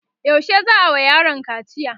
yaushe za'a wa yaron kaciya?